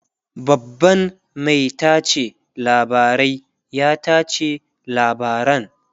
babban Mai tace labarai ya tace labaran